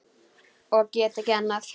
Og get ekki annað.